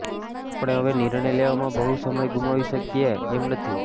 આપણે હવે નિર્ણય લેવામાં બહુ સમય ગુમાવી શકીએ એમ નથી